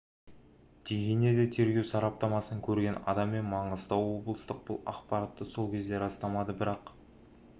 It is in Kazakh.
деген еді тергеу сараптамасын көрген адам мен маңғыстау облыстық бұл ақпаратты сол кезде растамады бірақ